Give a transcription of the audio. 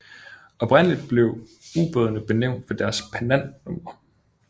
Oprindeligt blev ubådene benævnt ved deres pennantnumre